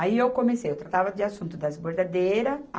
Aí eu comecei, eu tratava de assunto das bordadeiras.